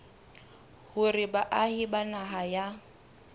hore baahi ba naha ya